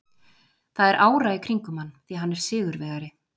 Það er ára í kringum hann því hann er sigurvegari.